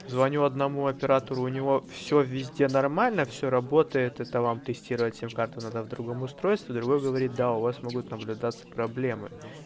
звоню одному оператору у него всё везде нормально всё работает это вам тестировать сим-карту надо в другом устройстве другой говорит да у вас могут наблюдаться проблемы